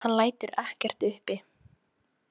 Hann lætur ekkert uppi.